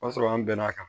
O y'a sɔrɔ an bɛn n'a kan